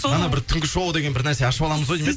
ана бір түнгі шоу деген бір нәрсе ашып аламыз ау деймін иә